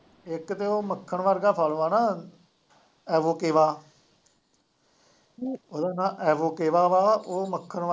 ਇੱਕ ਤੇ ਉਹ ਮੱਖਣ ਵਰਗਾ ਖਾ ਲਉ ਹੈ ਨਾ, ਐਵੋਕੇਵਾ ਉਹਦਾ ਨਾਂ ਐਵੋਕਵਾ ਵਾ ਉਹ ਮੱਖਣ ਵਰਗਾ